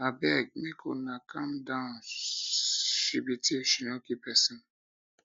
abeg make una calm down she be thief she no kill person